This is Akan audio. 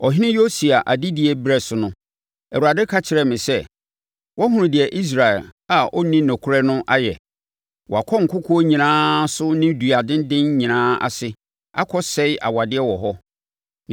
Ɔhene Yosia adedie berɛ so no, Awurade ka kyerɛɛ me sɛ, “Woahunu deɛ Israel a ɔnni nokorɛ no ayɛ? Wakɔ nkokoɔ nyinaa so ne dua adendan nyinaa ase akɔsɛe awadeɛ wɔ hɔ.